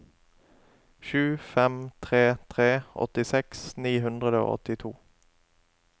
sju fem tre tre åttiseks ni hundre og åttito